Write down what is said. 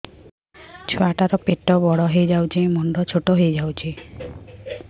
ଛୁଆ ଟା ର ପେଟ ବଡ ହେଇଯାଉଛି ମୁଣ୍ଡ ଛୋଟ ହେଇଯାଉଛି